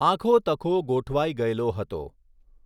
આખો તખો ગોઠવાઈ ગયેલો હતો.